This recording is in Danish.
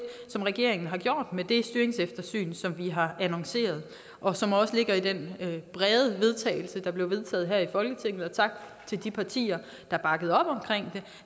som regeringen har gjort med det styringseftersyn som vi har annonceret og som også ligger i den brede vedtagelse der blev vedtaget her i folketinget og tak til de partier der bakkede op omkring det